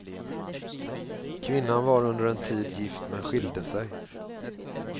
Kvinnan var under en tid gift, men skilde sig.